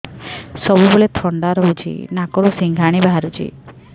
ସବୁବେଳେ ଥଣ୍ଡା ରହୁଛି ନାକରୁ ସିଙ୍ଗାଣି ବାହାରୁଚି